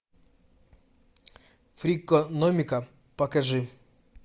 фрикономика покажи